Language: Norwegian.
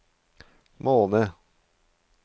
måned